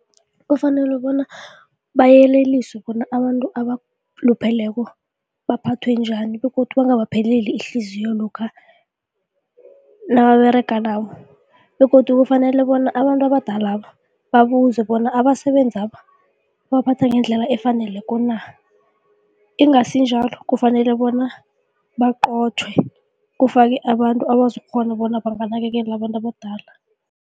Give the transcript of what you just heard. Kufanele bona bayeleliswe bona abantu abalupheleko baphathwe njani begodu banga abapheli ihliziyo lokha nababerega nabo begodu kufanele bona abantu abadalaba babuzwe bona abasebenzaba babaphatha ngendlela efaneleko na, ingasi njalo kufanele bona baqothwe kufakwe abantu abazokukghona bona banganakekela abantu abadala.